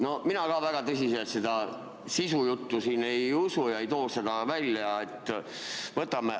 No mina ka väga tõsiselt seda sisujuttu siin ei usu ega too seda välja.